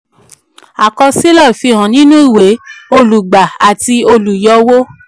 àkọsílẹ̀ fi hàn nínú ìwé olùgbà àti olùyọwó